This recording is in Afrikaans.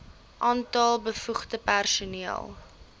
aantal bevoegde personeel